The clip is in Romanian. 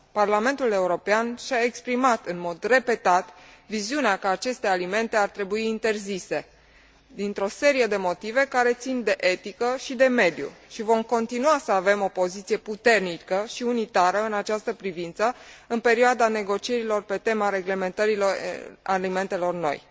Parlamentul European și a exprimat în mod repetat viziunea că aceste alimente ar trebui interzise, dintr o serie de motive care țin de etică și de mediu, și vom continua să avem o poziție puternică și unitară în această privință, în perioada negocierilor pe tema reglementărilor alimentelor noi.